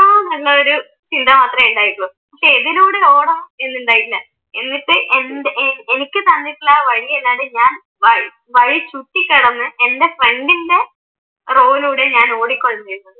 എത്തണന്നുള്ള ചിന്ത മാത്രമേ ഉണ്ടായിട്ടുള്ളൂ പക്ഷെ ഏതിലൂടെ ഓടും എന്നിണ്ടായിട്ടില്ല. എന്നിട്ട് എനിക്ക് തന്നിട്ടുള്ള വഴിയല്ലാതെ ഞാൻ വഴി ചുറ്റിക്കടന്നു എൻ്റെ ഫ്രണ്ടിൻറെ റോയിലൂടെയാ ആണ് ഞാൻ ഓടിക്കൊണ്ടിരുന്നത്.